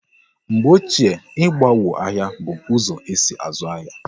Mgbe ochie, igbanwo ahịa bụ ụzọ esi azụ ahịa